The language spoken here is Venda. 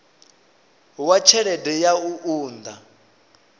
wa tshelede ya u unḓa